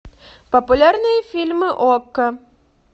популярные фильмы окко